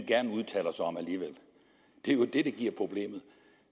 gerne udtaler sig om det er jo det der giver problemer